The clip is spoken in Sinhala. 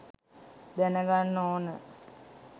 දැනගන්න ඕන